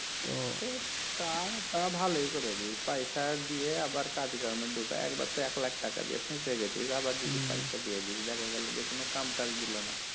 তো তা ভালোই করেছিস পয়সা দিয়ে আবার কাজ কামে ঢুকায়ে একবার তো এক লাখ টাকা দিয়ে ফেঁসে গেছিস আবার যদি পয়সা দিয়ে দিস দেখা গেল যে কোন কাম কাজ দিলনা